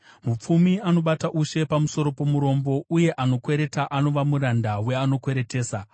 Mupfumi anobata ushe pamusoro pomurombo, uye anokwereta anova muranda weanokweretesa.